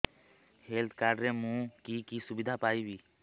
health card ରେ ମୁଁ କି କି ସୁବିଧା ପାଇବି